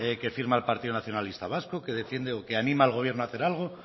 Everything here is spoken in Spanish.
que firma el partido nacionalista vasco que defiende o que anima al gobierno a hacer algo